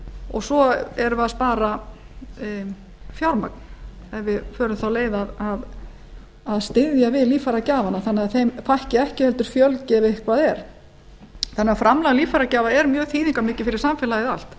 og svo er verið að spara fjármagn ef við förum þá leið að styðja við líffæragjafana þannig að þeim fækki ekki heldur fjölgi ef eitthvað er þannig að framlag líffæragjafa er mjög þýðingarmikið fyrir samfélagið allt